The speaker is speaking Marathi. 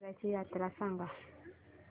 दसर्याची यात्रा सांगा